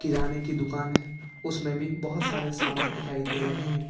किराने की दुकान है उसमें भी बहुत सारे सामान दिखाई दे रहे हैं।